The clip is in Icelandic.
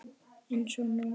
Eins og nú.